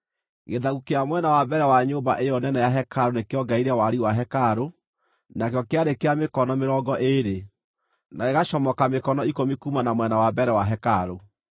Gĩthaku kĩa mwena wa mbere wa nyũmba ĩyo nene ya hekarũ nĩkĩongereire wariĩ wa hekarũ, nakĩo kĩarĩ kĩa mĩkono mĩrongo ĩĩrĩ, na gĩgacomoka mĩkono ikũmi kuuma na mwena wa mbere wa hekarũ.